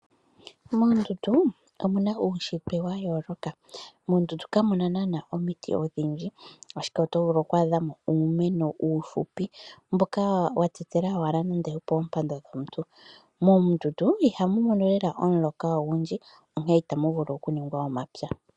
Moondundu omuna uushitwe wayooloka. Moondundu kamuna nana omiti odhindji ashike otovulu oku adhamo uumeno uufupi mboka watetela owala nande opoompando dhomuntu. Moondundu ihamu mono lela omuloka ogundji onkene itamu vulu okuningwa omapya.